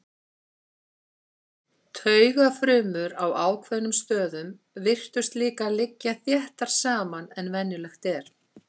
Taugafrumur á ákveðnum stöðum virtust líka liggja þéttar saman en venjulegt er.